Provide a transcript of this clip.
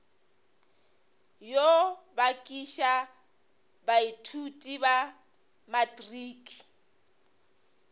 yo bakiša baithuti ba matriki